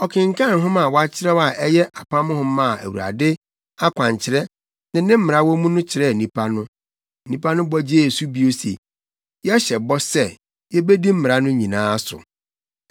Ɔkenkan nhoma a wakyerɛw a ɛyɛ Apam Nhoma a Awurade akwankyerɛ ne ne mmara wɔ mu no kyerɛɛ nnipa no. Nnipa no bɔ gyee so bio se, “Yɛhyɛ bɔ sɛ, yebedi mmara no nyinaa so.”